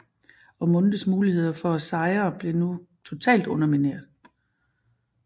Ormondes muligheder for at sejre blev nu totalt undermineret